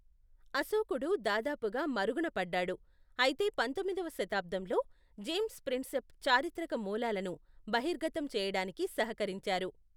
అశోకుడు దాదాపుగా మరుగునపడ్డాడు, అయితే పంతొమ్మిదవ శతాబ్దంలో, జేమ్స్ ప్రిన్సెప్ చారిత్రక మూలాలను బహిర్గతం చేయడానికి సహకరించారు.